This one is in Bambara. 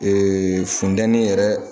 funtɛni yɛrɛ